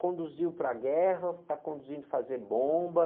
Conduziu para a guerra, está conduzindo fazer bomba.